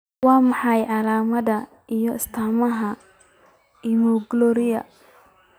Waa maxay calaamadaha iyo astaamaha Iminoglycinuria?